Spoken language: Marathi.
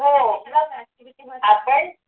हो आपण